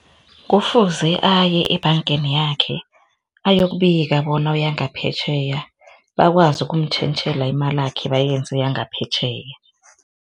Kufuze aye ebhangeni yakhe ayokubika bona uyangaphetjheya bakwazi ukumtjhentjhela imalakhe bayenze yangaphetjheya.